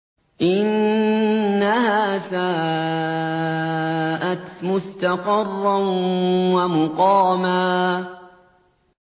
إِنَّهَا سَاءَتْ مُسْتَقَرًّا وَمُقَامًا